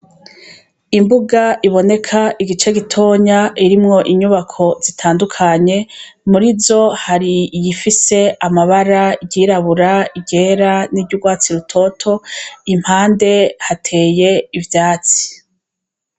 Imbuga iboneka igice gitonya irimwo inyubako zitandukanye, muri zo hari iyi ifise amabara igirabura, igera n'iry'urwatsi rutoto, impande hateye ivyatsi.